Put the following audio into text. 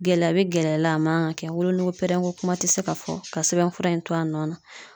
Gɛlɛya be gɛlɛya la a man ka kɛ wolonogo pɛrɛnko kuma te se ka fɔ ka sɛbɛn fura in to a nɔ na